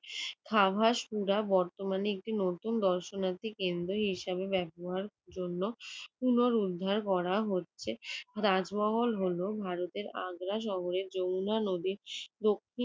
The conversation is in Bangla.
খাবাসপুরা বর্তমানে দর্শনার্থী কেন্দ্র হিসেবে ব্যবহারের জন্য পুনরুদ্ধার করা হচ্ছে। তাজমহল হলো ভারতের আগ্রা শহরের যমুনা নদীর দক্ষিণ